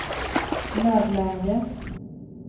nödläge